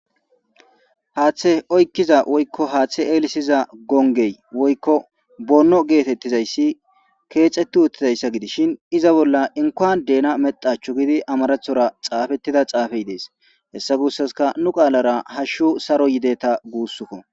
haaththe oykkiza woykko haaththe eelisiza gongey woykko bonno geetettizayssi keexeti uttizayssa gidishin iza bolla inkoan deena medachchu gidi amarathora xaafettida xaafey dees hessa gussaska nu qaalara hashshu saro yideta guussukko